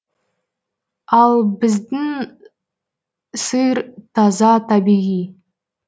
ал біздің сыр таза табиғи